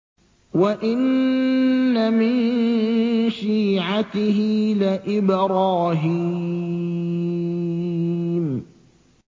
۞ وَإِنَّ مِن شِيعَتِهِ لَإِبْرَاهِيمَ